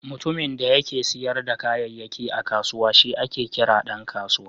Mutumin da yake siyar da kayayyaki a kusawa shi ake kira Dan kasuwa.